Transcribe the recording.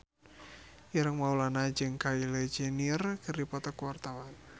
Ireng Maulana jeung Kylie Jenner keur dipoto ku wartawan